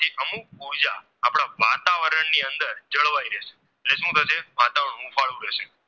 વાતાવરણની અંદર જળવાય રહે છે એટલે સુ થશે વાતાવરણ ઉફાલું રહેશે